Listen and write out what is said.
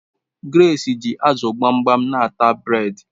Grace ji azu gbamgbam n'ata bred